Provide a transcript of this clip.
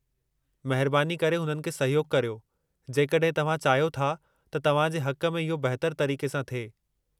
महिरबानी करे हुननि खे सहयोगु करियो, जेकॾहिं तव्हां चाहियो था त तव्हां जे हक़ में इहो बहितरु तरीक़े सां थिए।